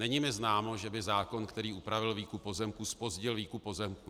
Není mi známo, že by zákon, který upravil výkup pozemků, zpozdil výkup pozemků.